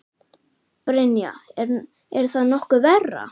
Brynja: Er það nokkuð verra?